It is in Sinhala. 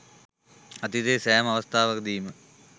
අතීතයේ සෑම අවස්ථාවකදීම